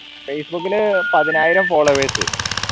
facebook ന് പതിനായിരം followers